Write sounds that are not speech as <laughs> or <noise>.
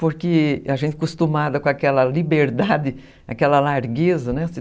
Porque a gente é acostumada com aquela liberdade, <laughs> aquela largueza, né?